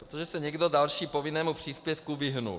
Protože se někdo další povinnému příspěvku vyhnul.